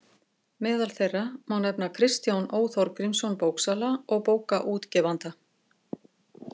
Meðal þeirra má nefna Kristján Ó Þorgrímsson bóksala og bókaútgefanda.